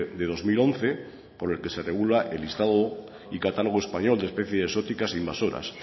de dos mil once con el que se regula el listado y catálogo español de especies exóticas invasoras